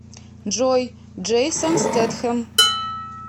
джой джейсон стетхэм